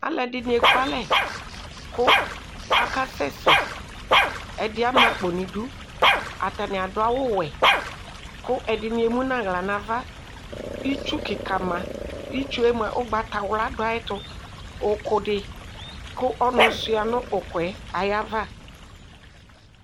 Alʋ ɛdini ekʋ alɛ kʋ akasɛsɛ ɛdi ama akpo nʋ idʋ atani adʋ awʋwɛ kʋ ɛdini emʋnʋ aɣla nʋ ava itsʋ kika ma itsue mʋa ʋgbatawla dʋ ayɛtʋ ʋkʋ di ɔnʋ suia nʋ ʋkʋɛ ayʋ ava